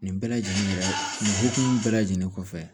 Nin bɛɛ lajɛlen nin hokumu bɛɛ lajɛlen kɔfɛ